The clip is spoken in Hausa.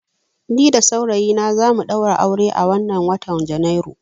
Ni da saurayina za mu ɗaura aure a wannan watan Janairu.